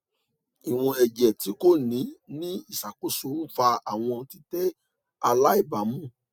iwọn ẹjẹ ti ko ni ni iṣakoso nfa awọn titẹ alaibamu